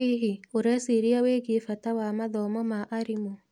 Hihi, ũreciria wĩgie bata wa mathomo ma arimũ?